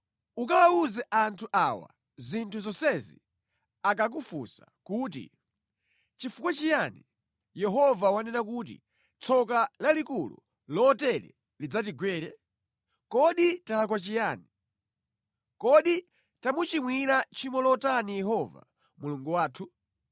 “Ukawawuza anthu awa zinthu zonsezi akakufunsa kuti, ‘Chifukwa chiyani Yehova wanena kuti tsoka lalikulu lotere lidzatigwere? Kodi talakwa chiyani? Kodi tamuchimwira tchimo lotani Yehova Mulungu wathu?’